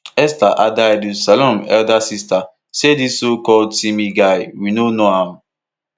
esther adaidu salome elder sister saydis socalled timi guy we no know am